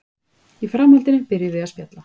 Í framhaldinu byrjuðum við að spjalla